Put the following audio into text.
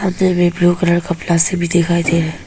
blue colour कपड़ा सब भी दिखाई दे रहा--